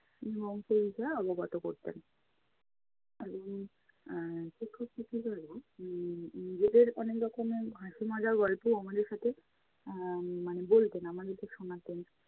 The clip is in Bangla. মঞ্চে উঠে অবগত করতেন উম এর শিক্ষক শিক্ষিকারাও উম নিজেদের অনেক রকমের হাসি মজার গল্পও আমাদের সাথে এর মানে বলতেন, আমাদেরকে শোনাতেন।